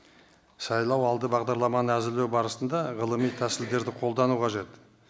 сайлау алды бағдарламаны әзірлеу барысында ғылыми тәсілдерді қолдану қажет